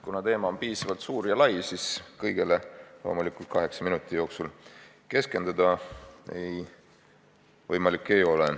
Kuna teema on suur ja lai, siis kõigele loomulikult kaheksa minuti jooksul keskenduda ei ole võimalik.